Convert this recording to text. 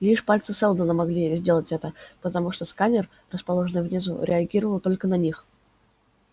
лишь пальцы сэлдона могли сделать это потому что сканер расположенный внизу реагировал только на них